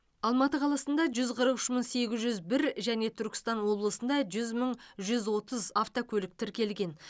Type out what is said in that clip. алматы қаласында жүз қырық үш мың сегіз жүз бір және түркістан облысында жүз мың жүз отыз автокөлік тіркелген